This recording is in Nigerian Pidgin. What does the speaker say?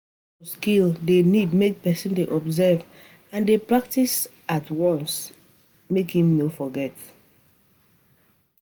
Hands-on skill de need make persin de observe and de practice at practice at once make im no forget